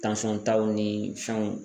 taw ni fɛnw